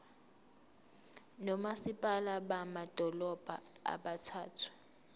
nomasipala bamadolobha abathathu